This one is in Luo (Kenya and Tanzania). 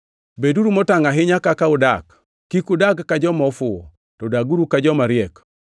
Beduru motangʼ ahinya kaka udak, kik udag ka joma ofuwo, to daguru ka joma riek,